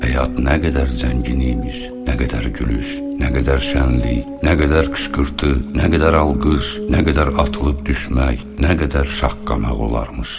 Həyat nə qədər zəngin imiş, nə qədər gür gülüş, nə qədər şənlik, nə qədər qışqırtı, nə qədər alqış, nə qədər atılıb düşmək, nə qədər şaqqanaq olarmış.